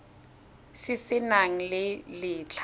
se se nang le letlha